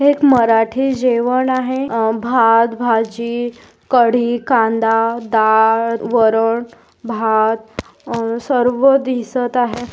एक मराठी जेवण आहे अ भात भाजी कढी कांदा डाळ वरण भात अ सर्व दिसत आहे.